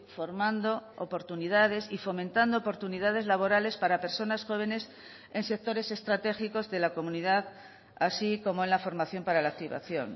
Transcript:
formando oportunidades y fomentando oportunidades laborales para personas jóvenes en sectores estratégicos de la comunidad así como en la formación para la activación